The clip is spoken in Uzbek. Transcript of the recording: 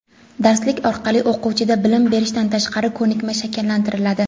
Darslik orqali o‘quvchida bilim berishdan tashqari ko‘nikma shakllantiriladi.